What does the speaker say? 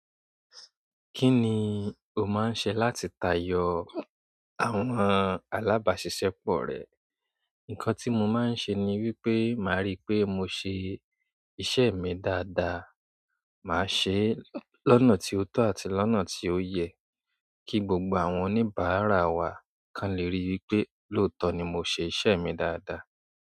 Kí ni o máa ń ṣe láti tayọ àwọn alábàáṣiṣẹ́pọ̀ rẹ? Ǹnkan tí mo máa ń ṣe ni wípé, màá rí pé mo ṣe iṣẹ́ mi dáadáa. Màá ṣe é lọ́nà tí ó tọ́ àti lọ́nà tí ó yẹ kí gbogbo àwọn oníbàárà wa kan lè rí wípé lóòótọ́ ni mo ṣe iṣẹ́ mi dáadáa.